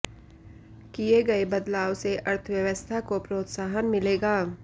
किए गए बदलाव से अर्थव्यवस्था को प्रोत्साहन मिलेगा